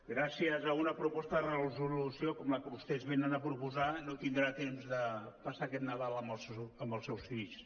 gràcies a una proposta de resolució com la que vostès venen a proposar no tindrà temps de passar aquest nadal amb els seus fills